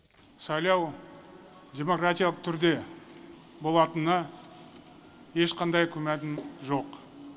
сайлау демократиялық түрде болатынына ешқандай күмәнім жоқ